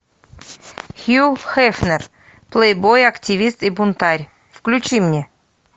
хью хефнер плейбой активист и бунтарь включи мне